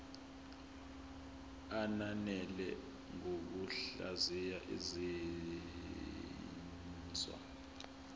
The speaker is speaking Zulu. ananele ngokuhlaziya izinzwa